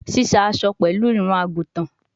Sise aso pẹlu irun-agutan